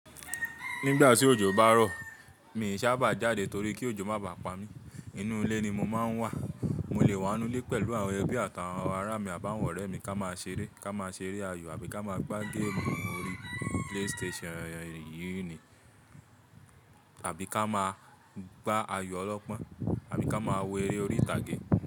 Nígbà tí òjò bá rọ̀, mi sì sábà jáde torí kí òjò má bá pa mí. Inú ilé ni mo máa ń wà. Mo lè wà nínú ilé pẹ̀lú àwọn ẹbí àtàwọn ará mi àbáwọ̀ ọ̀rẹ́ mi ká máa ṣeré, ká máa ṣeré ayò àbí ká máa gbá géèmù orí PlayStation yìí ni, àbí ká máa gbá ayò ọlọ́pọ́n, àbí ká máa wo eré orí ìtàgé.